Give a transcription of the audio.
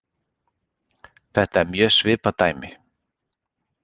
Þetta er mjög svipað dæmi.